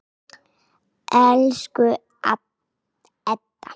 Elsku Edda.